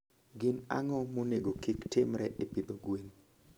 Gin ang'o monego kik timre e pidho gwen?